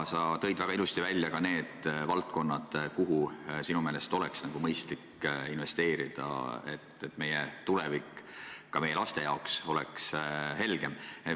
Sa tõid väga ilusasti välja ka need valdkonnad, kuhu sinu meelest oleks mõistlik investeerida, et meie tulevik ja ka meie laste tulevik oleks helgem.